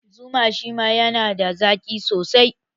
Zuma shima yana da zaƙi sosai